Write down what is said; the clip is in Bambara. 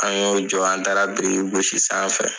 An y'o jɔ an taara biriki gosi sanfɛ.